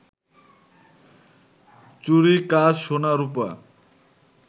চুড়ি কাঁচ, সোনা, রূপা